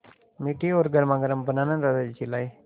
मीठी और गर्मागर्म बनाना दादाजी चिल्लाए